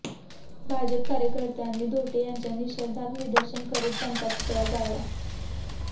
भाजप कार्यकर्त्यांनी धोटे यांच्या निषेधार्थ निदर्शनं करीत त्यांचा पुतळा जाळला